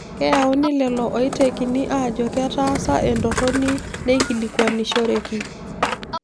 Keyauni lelo oitekini aajo ketaasa entorroni neikilikuanishoreki